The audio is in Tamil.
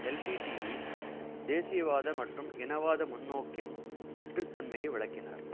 எல்டிடிஇ தேசியவாத மற்றும் இனவாத முன்நோக்கின் வெற்றுத் தன்மையை விளக்கினார்